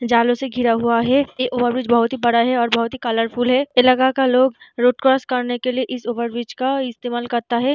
जालों से घिरा हुआ है ये ओवरब्रिज बहुत ही बड़ा है और बहुत ही कलर फुल है इलाका का लोग रोड क्रॉस करने के लिए इस ओवरब्रिज का इस्तेमाल करता है ।